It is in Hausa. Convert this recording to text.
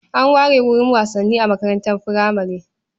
An ware wurin wasanni a makarantar furamare.